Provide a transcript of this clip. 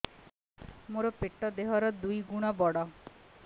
ମୋର ପେଟ ଦେହ ର ଦୁଇ ଗୁଣ ବଡ